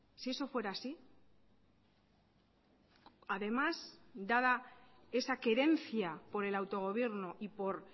si eso fuera así además dada esa querencia por el autogobierno y por